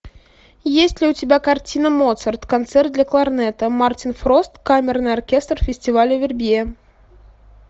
есть ли у тебя картина моцарт концерт для кларнета мартин фрост камерный оркестр фестиваля вербье